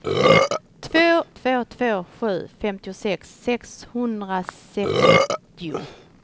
två två två sju femtiosex sexhundrasextio